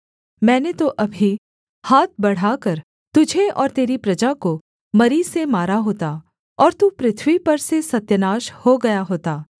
मैंने तो अभी हाथ बढ़ाकर तुझे और तेरी प्रजा को मरी से मारा होता और तू पृथ्वी पर से सत्यानाश हो गया होता